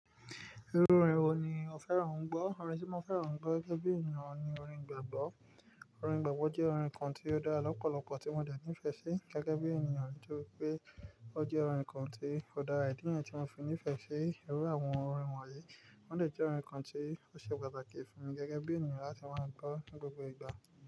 Irú orin wo ni o fẹ́ràn ń gbọ́? Orin tí mo fẹ́ràn ń gbọ́ gẹ́gẹ́ bí ènìyàn ni orin igbàgbọ́. Orin igbàgbọ́ jẹ́ orin kan tí ó dára lọ́pọ̀lọpọ̀ tí mo dà nìfẹ́ sí gẹ́gẹ́ bí ènìyàn nítorí pé ó jẹ́ orin kan tí ó dára. Ìdí niyen tí mo fi ní ìfẹ́ sí irú àwọn orin wọ̀nyí, wọ́n dà jẹ́ orin kan tí ó ṣe pàtàkì fún mi gẹ́gẹ́ bí ènìyàn láti máa ń gbọ́ ní gbogbo ìgbà.